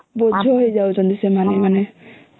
ବୋଝ ହେଇ ଯାଉଛଂତି ସେମାନେ ହେଲେ